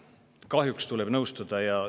Kahjuks tuleb nõustuda!